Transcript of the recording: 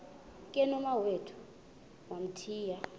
ke nomawethu wamthiya